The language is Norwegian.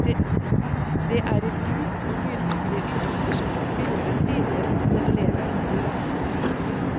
Det er i bruk og lydmessige ytelser spilleren viser om den lever opp til løftene.